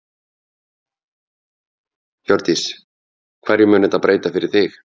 Hjördís: Hverju mun þetta breyta fyrir þig?